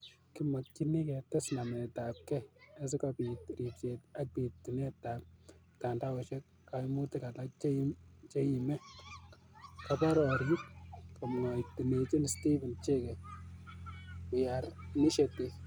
Kimakchini ketes namet ap kei asigobiit riibseet ak biitunt ap mtandaoak kaimutik alak cheiimi koborioik," komwachineechi stephen chege We care initiative'